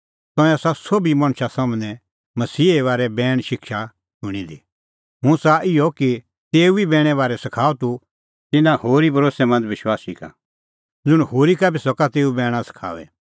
तंऐं आसा सोभी मणछा सम्हनै मसीहे बारै बैणे शिक्षा शूणीं दी हुंह च़ाहा इहअ कि तेऊ ई बैणे बारै सखाऊ तूह तिन्नां होरी भरोस्सैमंद विश्वासी का ज़ुंण होरी का बी सका तेऊ बैणा सखाऊई